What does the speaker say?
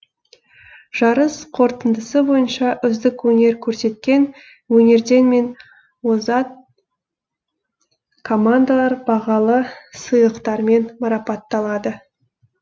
жарыс қорытындысы бойынша үздік өнер көрсеткен өрендер мен озат командалар бағалы сыйлықтармен марапатталады